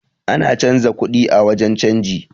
Ana canza kuɗi a wurin canji